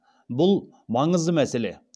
бұл маңызды мәселе